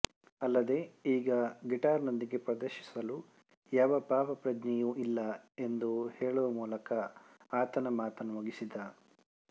ಅಲ್ಲದೇ ಈಗ ಗಿಟಾರ್ ನೊಂದಿಗೆ ಪ್ರದರ್ಶಿಸಲು ಯಾವ ಪಾಪ ಪ್ರಜ್ಞೆಯು ಇಲ್ಲ ಎಂದು ಹೇಳಿವ ಮೂಲಕ ಆತನ ಮಾತನು ಮುಗಿಸಿದ